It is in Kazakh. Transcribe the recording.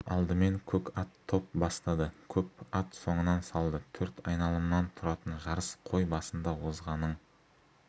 алдымен көк ат топ бастады көп ат соңынан салды төрт айналымнан тұратын жарыс қой басында озғанның